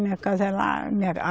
Minha casa é lá. Minha